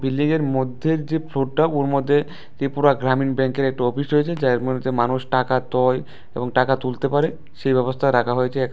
Building এর মধ্যে যে ফ্লোরটা ওর মধ্যে ত্রিপুরা গ্রামীণ ব্যাংকের একটা অফিস রয়েছে যার মধ্যে যে মানুষ টাকা তোয় টাকা তুলতে পারে সেই ব্যবস্থা রাখা হয়েছে এখানে।